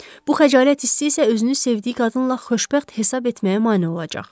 Bu xəcalət hissi isə özünü sevdiyi qadınla xoşbəxt hesab etməyə mane olacaq.